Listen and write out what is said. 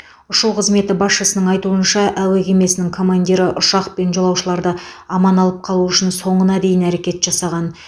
ұшу қызметі басшысының айтуынша әуе кемесінің командирі ұшақ пен жолаушыларды аман алып қалу үшін соңына дейін әрекет жасаған